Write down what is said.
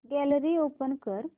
gallery open कर